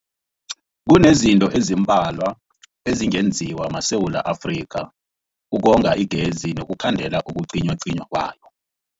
Kunezinto ezimbalwa ezingenziwa maSewula Afrika ukonga igezi nokukhandela ukucinywacinywa kwayo.